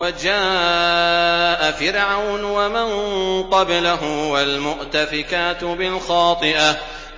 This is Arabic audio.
وَجَاءَ فِرْعَوْنُ وَمَن قَبْلَهُ وَالْمُؤْتَفِكَاتُ بِالْخَاطِئَةِ